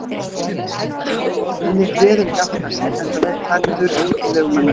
Hann lét veður ekki aftra sér, enda vel klæddur að útilegumanna sið.